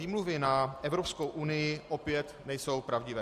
Výmluvy na Evropskou unii opět nejsou pravdivé.